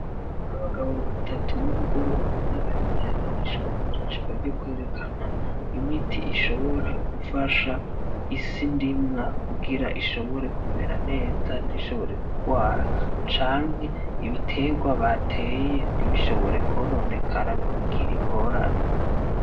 Abagabo batatu n'umugore umwe bari muri ihayanishwa gurishwa ryokwerekana imiti ishobora gufasha isi ndimwa kugira ishobore kumera neza ntishobore kugwara canke ibitegwa bateye ntibishobore kwononekara ngo bigire ingorane.